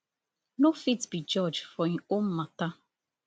no fit be judge for im own matter